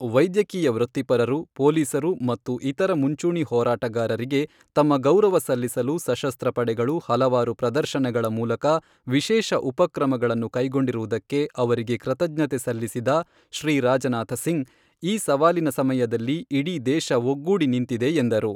ವೈದ್ಯಕೀಯ ವೃತ್ತಿಪರರು, ಪೊಲೀಸರು ಮತ್ತು ಇತರ ಮುಂಚೂಣಿ ಹೋರಾಟಗಾರರಿಗೆ ತಮ್ಮ ಗೌರವ ಸಲ್ಲಿಸಲು ಸಶಸ್ತ್ರ ಪಡೆಗಳು ಹಲವಾರು ಪ್ರದರ್ಶನಗಳ ಮೂಲಕ ವಿಶೇಷ ಉಪಕ್ರಮಗಳನ್ನು ಕೈಗೊಂಡಿರುವುದಕ್ಕೆ ಅವರಿಗೆ ಕೃತಜ್ಞತೆ ಸಲ್ಲಿಸಿದ ಶ್ರೀ ರಾಜನಾಥ ಸಿಂಗ್ ಈ ಸವಾಲಿನ ಸಮಯದಲ್ಲಿ ಇಡೀ ದೇಶ ಒಗ್ಗೂಡಿ ನಿಂತಿದೆ ಎಂದರು.